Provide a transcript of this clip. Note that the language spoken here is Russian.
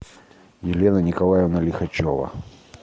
елена николаевна лихачева